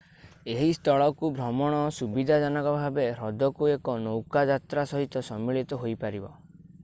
ଏହି ସ୍ଥଳକୁ ଭ୍ରମଣ ସୁବିଧାଜନକ ଭାବେ ହ୍ରଦକୁ ଏକ ନୌକା ଯାତ୍ରା ସହିତ ସମ୍ମିଳିତ ହୋଇପାରିବ